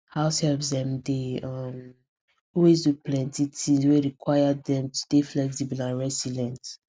househelps dem dey um always do plenty tins wey require dem to dey flexible and resilient